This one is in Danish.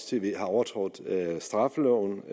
tv har overtrådt straffeloven